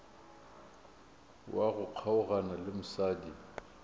wa go kgaogana le mosadi